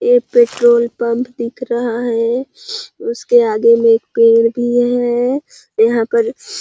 ए petrol pump दिख रहा है उसके आगे में एक पेड़ भी है यहाँ पर --